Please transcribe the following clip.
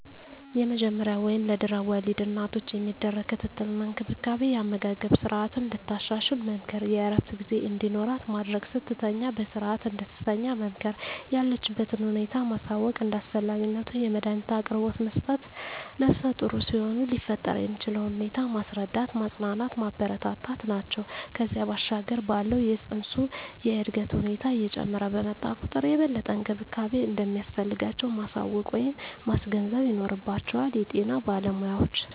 የመጀመሪያ ወይም ለድሕረ ወሊድ እናቶች የሚደረግ ክትትል እና እንክብካቤ የአመጋገብ ስረዓትን እንድታሻሽል መምከር፣ የእረፍት ጊዜ እንዲኖራት ማድረግ፣ ስትተኛ በስረዓት እንድትተኛ መምከር፣ የለችበትን ሁኔታ ማሳወቅ፣ እንደ አስፈላጊነቱ የመዳኒት አቅርቦት መስጠት፣ ነፍሰጡር ሲሆኑ ሊፈጠር የሚችለውን ሁኔታ ማስረዳት፣ ማፅናናት፣ ማበረታታት ናቸው። ከዚያ ባሻገር ባለው የፅንሱ የእድገት ሁኔታ እየጨመረ በመጣ ቁጥር የበለጠ እንክብካቤ እንደሚያስፈልጋቸው ማሳወቅ ወይም ማስገንዘብ ይኖርባቸዋል የጤና ባለሞያዎች።